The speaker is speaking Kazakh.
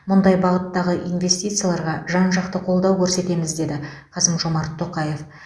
мұндай бағыттағы инвестицияларға жан жақты қолдау көрсетеміз деді қасым жомарт тоқаев